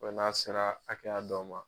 Bɛ n'a sera hakɛya dɔ ma